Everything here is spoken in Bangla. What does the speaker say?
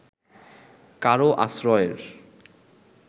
কারও আশ্রয়ের